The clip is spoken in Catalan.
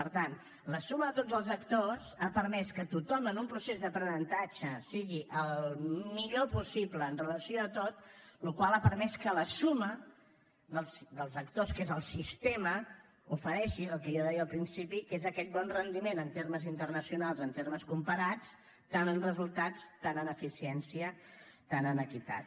per tant la suma de tots els actors ha permès que tothom en un procés d’aprenentatge sigui el millor possible amb relació a tot la qual cosa ha permès que la suma dels actors que és el sistema ofereixi el que jo deia al principi que és aquest bon rendiment en termes internacionals en termes comparats tant en resultats tant en eficiència tant en equitat